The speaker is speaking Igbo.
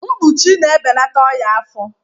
Mkpuchi na-ebelata ọnya afọ